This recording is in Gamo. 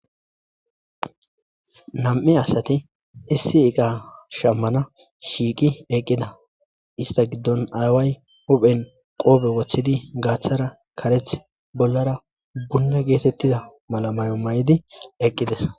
nam'i asati issi iqa shammana shiiqi eqqida ista giddon aaway huphen qoobe woththidi gaaththara karethi bollara bunna geetettida mala mayo mayidi eqqides